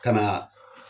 Ka na